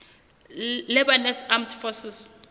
lebanese armed forces